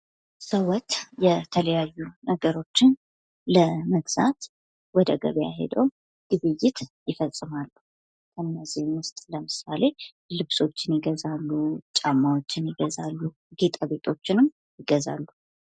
ሰዎች የተለያዩ ነገሮችን ለመግዛት ወደ ገበያ ሄደው ግብይት ይፈጸማል። ከእነዚህም ውስጥ ለምሳሌ ልብሶችን ይገዛሉ ጫማዎችን ይገዛሉ ጌጣጌጦችንም ይገዛሉ።